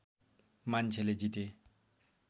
मान्छेले जिते